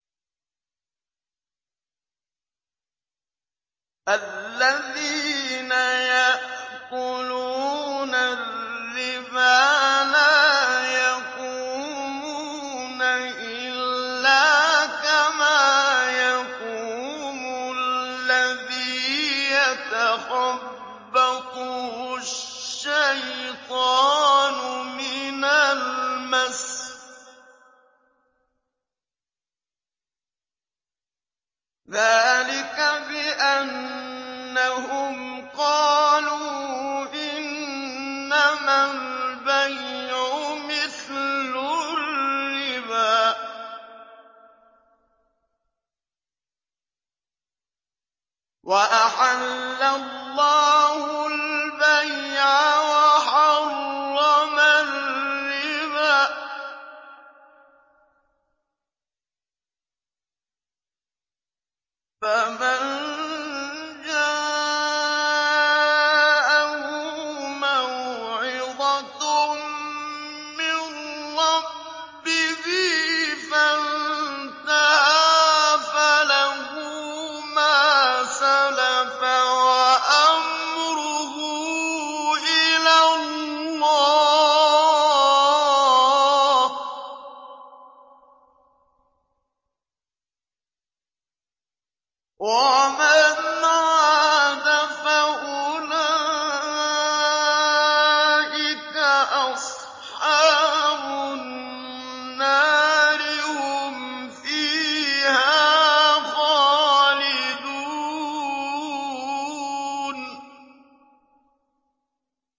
الَّذِينَ يَأْكُلُونَ الرِّبَا لَا يَقُومُونَ إِلَّا كَمَا يَقُومُ الَّذِي يَتَخَبَّطُهُ الشَّيْطَانُ مِنَ الْمَسِّ ۚ ذَٰلِكَ بِأَنَّهُمْ قَالُوا إِنَّمَا الْبَيْعُ مِثْلُ الرِّبَا ۗ وَأَحَلَّ اللَّهُ الْبَيْعَ وَحَرَّمَ الرِّبَا ۚ فَمَن جَاءَهُ مَوْعِظَةٌ مِّن رَّبِّهِ فَانتَهَىٰ فَلَهُ مَا سَلَفَ وَأَمْرُهُ إِلَى اللَّهِ ۖ وَمَنْ عَادَ فَأُولَٰئِكَ أَصْحَابُ النَّارِ ۖ هُمْ فِيهَا خَالِدُونَ